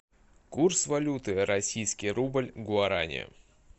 курс валюты российский рубль гуарани